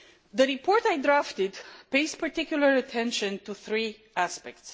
The report I drafted pays particular attention to three aspects.